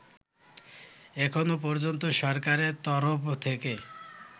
এখনো পর্যন্ত সরকারের তরফ থেকে